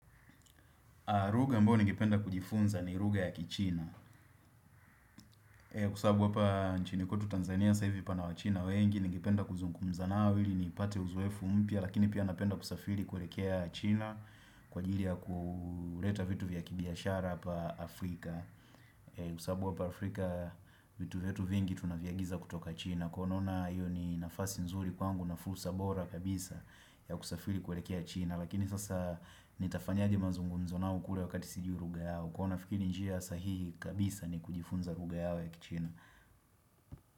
Lugha ambayo ningependa kujifunza ni lugha ya kichina. Kwa sababu hapa nchini kwetu Tanzania sasa hivi pana wachina wengi, ningependa kuzungumza nao ili nipate uzoefu mpya, lakini pia napenda kusafiri kuelekea China kwa ajili ya kuleta vitu vya kibiashara hapa Afrika. Kwa sababu hapa Afrika vitu vyetu vingi tunaviagiza kutoka China, kwa hivyo naona hiyo ni nafasi nzuri kwangu na fursa bora kabisa ya kusafiri kuelekea China. Lakini sasa nitafanyaje mazungumzo nao kule wakati sijiu lugha yao. Kwa nafikiri njia sahihi kabisa ni kujifunza lugha yao ya kichina.